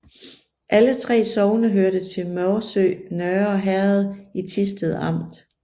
Alle 3 sogne hørte til Morsø Nørre Herred i Thisted Amt